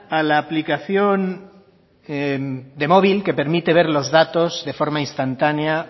a la aplicación de móvil que permite ver los datos de forma instantánea